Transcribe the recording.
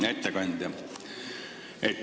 Hea ettekandja!